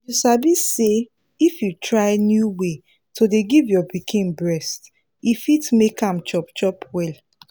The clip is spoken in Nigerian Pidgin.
you sabi say if you try new way to dey give your pikin breast e fit make am chop chop well